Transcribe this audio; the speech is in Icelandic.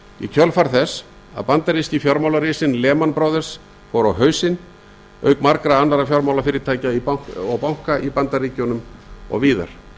í kjölfar þess að bandaríski fjármálarisinn lehman brothers fór á hausinn auk margra annarra fjármálafyrirtækja og banka í bandaríkjunum og víðar